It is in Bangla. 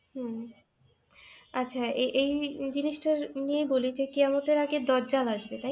হম আচ্ছা, এ এই এই জিনিসটাই নিয়ে বলি যে, কেয়ামতের আগে দাজ্জাল আসবে তাই না?